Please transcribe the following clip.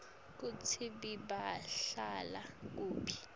kutsi bebahlala kuphi